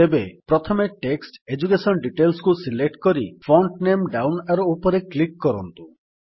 ତେବେ ପ୍ରଥମେ text education Detailsକୁ ସିଲେକ୍ଟ କରି ଫଣ୍ଟ ନାମେ ଡାଉନ୍ ଆରୋ ଉପରେ କ୍ଲିକ୍ କରନ୍ତୁ